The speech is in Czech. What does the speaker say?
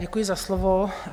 Děkuji za slovo.